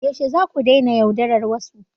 Yaushe zaku daina yaudarar wasu?